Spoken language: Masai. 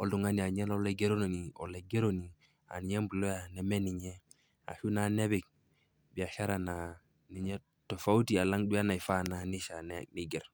oltung'ani aaninye noolaigeroni, olaigeroni aaninye employer nemeninye. Ashuu naa nepik biashara naa ninye tofauti alang' duo neifaa neishaa naa neiger.